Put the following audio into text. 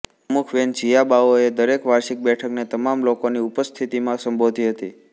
પ્રમુખ વેન જીઆબાઓએ દરેક વાર્ષિક બેઠકને તમામ લોકોની ઉપસ્થિતિમાં સંબોધી હતી